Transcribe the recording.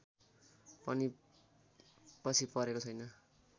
पनि पछि परेको छैन